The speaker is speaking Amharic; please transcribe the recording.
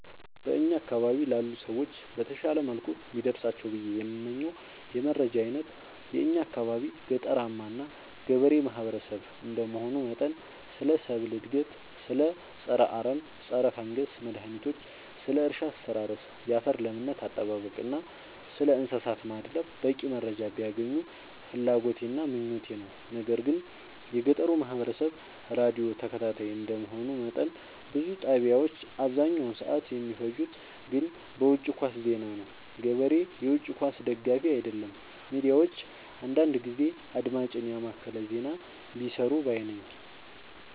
በእኛ አካባቢ ላሉ ሰዎች በተሻለ መልኩ ቢደርሳቸው ብዬ የምመኘው የመረጃ አይነት የእኛ አካባቢ ገጠራማ እና ገበሬ ማህበሰብ እንደመሆኑ መጠን ስለ ሰብል እድገት ስለ ፀረ አረም ፀረፈንገስ መድሀኒቶች ስለ እርሻ አስተራረስ ያፈር ለምነት አጠባበቅ እና ስለእንሰሳት ማድለብ በቂ መረጃ ቢያገኙ ፍላጎቴ እና ምኞቴ ነው። ነገር ግን የገጠሩ ማህበረሰብ ራዲዮ ተከታታይ እንደ መሆኑ መጠን ብዙ ጣቢያዎች አብዛኛውን ሰዓት የሚፈጅት ግን በውጪ ኳስ ዜና ነው። ገበሬ የውጪ ኳስ ደጋፊ አይደለም ሚዲያዎች አንዳንዳንድ ጊዜ አድማጭን የማከለ ዜና ቢሰሩ ባይነኝ።